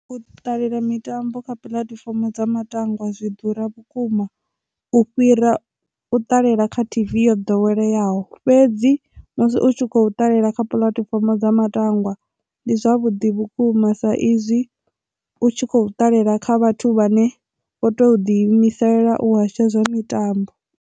U ṱalela mitambo kha puḽatifomo dza matangwa zwi ḓura vhukuma u fhira u ṱalela kha tv yo ḓoweleyaho fhedzi musi u tshi kho ṱalela kha puḽatifomo dza matangwa ndi zwavhuḓi vhukuma sa izwi u tshi kho ṱalela kha vhathu vhane vho to ḓi imisela u hasha zwa mitambo.